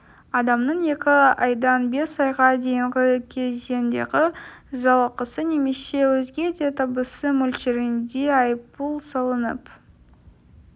адамның екі айдан бес айға дейінгі кезеңдегі жалақысы немесе өзге де табысы мөлшерінде айыппұл салынып